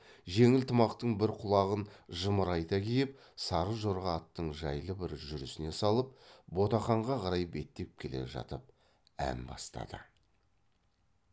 жеңіл тымақтың бір құлағын жымырайта киіп сары жорға аттың жайлы бір жүрісіне салып ботақанға қарай беттеп келе жатып ән бастады